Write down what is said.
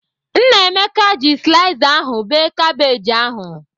Nnameka ji slaiza ahụ bee kabej ahụ.